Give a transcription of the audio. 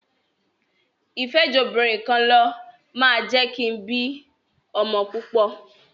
ìfẹ́jobìnrinkanlọ máa jẹ́ kin bí ọmọ púpọ̀.